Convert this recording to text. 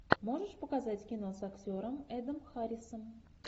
можешь показать кино с актером эдом харрисом